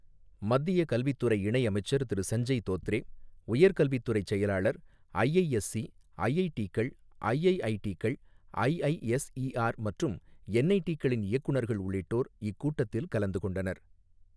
மத்திய கல்வி துறை இணை அமைச்சர் திரு சஞ்சய் தோத்ரே, உயர்கல்வித்துறை செயலாளர், ஐஐஎஸ்சி, ஐஐடிகள், ஐஐஐடிகள், ஐஐஎஸ்ஈஆர் மற்றும் என்ஐடிகளின் இயக்குநர்கள் உள்ளிட்டோர் இக்கூட்டத்தில் கலந்து கொண்டனர்.